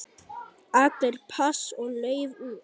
Allir pass og lauf út.